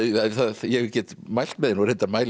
ég get mælt með henni reyndar mæli